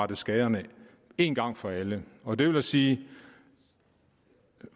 på skaderne én gang for alle og det vil sige at